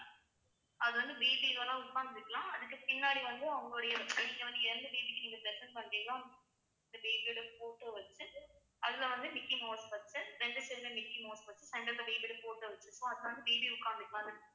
அது வந்து baby இதெல்லாம் உட்கார்ந்துக்கலாம் அதுக்கு பின்னாடி வந்து அவுங்களுடைய நீங்க வந்து எந்த baby க்கு நீங்க present பண்றீங்களோ அவுங்~ அந்த baby ஓட photo வச்சுட்டு அதுல வந்து micky mouse வச்சு ரெண்டு side ல micky mouse வச்சு centre ல baby உட்காந்து~ மாரி ஓட photo வச்சு சும்மா உட்காந்து